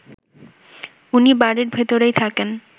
উনি বাড়ির ভেতরেই থাকেন